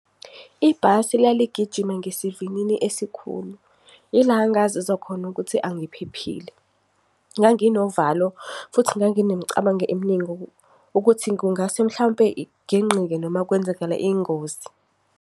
Ibhasi laligijima ngesivinini esikhulu, ila engazizwa khona ukuthi angiphephile. Nganginovalo, futhi nganginemicabango emningi ukuthi kungase mhlampe igingqike noma kwenzakale ingozi.